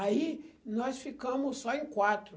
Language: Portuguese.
Aí nós ficamos só em quatro.